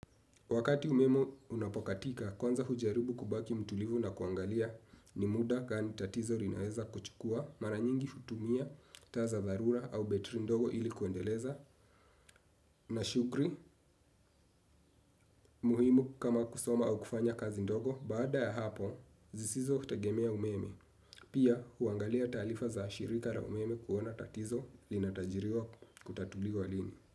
Wakati umeme unapokatika, kwanza hujaribu kubaki mtulivu na kuangalia ni muda gani tatizo linaweza kuchukua mara nyingi hutumia taa za dharura au betri ndogo ili kuendeleza mashughli muhimu kama kusoma au kufanya kazi ndogo baada ya hapo zisizo utegemea umeme. Pia, huangalia taarifa za shirika la umeme kuona tatizo linatajiriwa kutatuliwa lini.